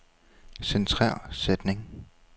Centrer sætning.